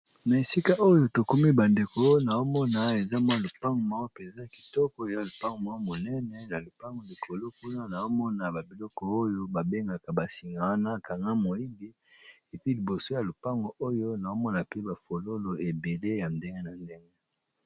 na esika oyo tokomi bandeko naomona eza mwa lupange mawa peza kitoko ya lupang mwa monene ya lupango likolo kuna naomona babiloko oyo babengaka basinga wana kanga moigi epi liboso ya lupango oyo naomona pe bafololo ebele ya ndenge na ndenge